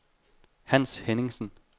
Hans Henningsen